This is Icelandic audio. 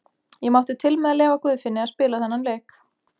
Ég mátti til með að leyfa Guðfinni að spila þennan leik.